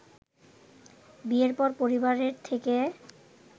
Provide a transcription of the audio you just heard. বিয়ের পর পরিবারের থেকে